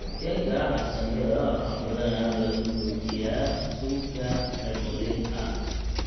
Keega carsaanyada waxaa badanaa lagu bixiyaa suugo remoulade ah.